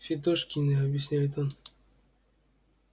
фидошкины объясняет он